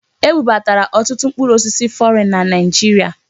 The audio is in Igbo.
Ebubatara ọtụtụ mkpụrụ osisi fọrịn na Naịjirịa.